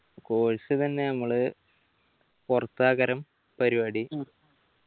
course ഇതെന്നെ നമ്മള് പൊറത്താകരം പരിപാടി